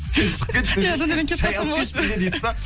сен шығып кетші десей